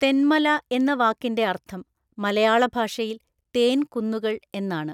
തെന്മല എന്ന വാക്കിന്റെ അർത്ഥം മലയാളഭാഷയിൽ തേൻ കുന്നുകൾ എന്നാണ്.